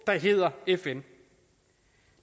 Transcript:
der hedder fn